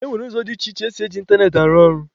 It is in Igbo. E nwere ụzọ dị iche iche esi e ji ịntanetị arụ ọrụ.